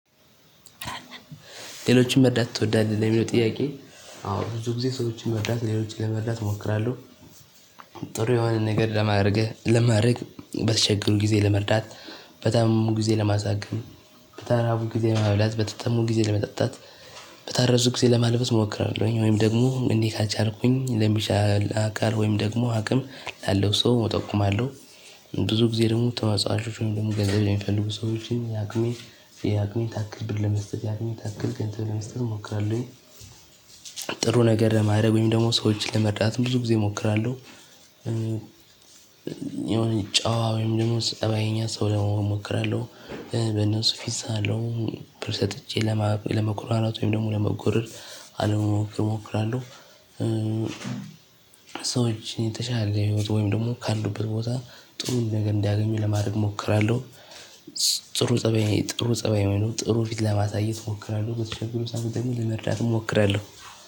ሌሎችን መርዳት ትወዳለህ? ለሚለው ጥያቄ አዎ ብዙ ጊዜ ሰዎችን መርዳት ሌሎችን ለመርዳት እሞክራለሁ። ጥሩ የሆነ ነገር ለማርገ ለማረግ በተቸገሩ ግዜ ለመርዳት። በታመሙ ጊዜ ለማሳከም። በተራቡ ጊዜ ለማብላት በተጠሙ ጊዜ ለመጠጣት። በታረዙ ጊዜ ለማልበስ እሞክራለሁኝ ወይም ደግሞ እንዲህ ካልቻልኩኝ ለሚችል አካል ወይም ደግሞ አቅም ላለው ሰው እጠቁማለሁ። ብዙ ጊዜ ደግሞ ተመጽዋቾችን ደግሞ ገንዘብ የሚፈልጉ ሰዎችን ያቅሜ ያቅሜ ታክል ብር ለመስጠት ያቅሜን ታክል ገንዘብ ለመስጠት እሞክራለሁኝ። ጥሩ ነገር ለማድረግ ወይም ደግሞ ሰዎችን ለመርዳት ብዙ ጊዜ እሞክራለሁ። የሆነ ጨዋ ወይም ደግሞ ጸባይኛ ሰው ለመሆን እሞክራለሁ። በነሱ ፊት ሳለው ብር ሰጥቼ ለመኩራራት ወይም ደግሞ ለመጎረር አለመሞከር እሞክራለሁ። ሰዎችን የተሻለ ህይወት ወይም ደግሞ ካሉበት ቦታ ጥሩ ነገር እንዲያገኙ ለማድረግ እሞክራለሁ። ጥሩ ፀባይ ጥሩ ፀባይ ወይም ደሞ ጥሩ ፊት ለማሳየት እሞክራለሁ በተቸገሩ ሰዕት ደሞ ለመርዳት እሞክራለሁ።